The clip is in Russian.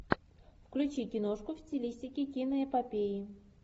включи киношку в стилистике киноэпопеи